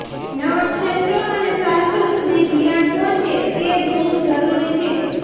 નવા ક્ષેત્રો અને સાહસો સુધી ધિરાણ પહોંચે તે જોવું જરૂરી છે